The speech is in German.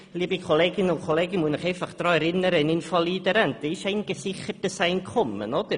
Liebe Kolleginnen und Kollegen, ich muss Sie daran erinnern, dass eine Invalidenrente ein gesichertes Einkommen ist.